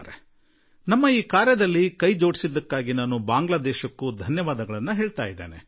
ನಮ್ಮೊಂದಿಗೆ ಕೂಡಿಕೊಂಡಿದ್ದಕ್ಕಾಗಿ ನಾನು ಬಾಂಗ್ಲಾ ದೇಶಕ್ಕೂ ವಂದನೆಗಳನ್ನು ತಿಳಿಸುವೆ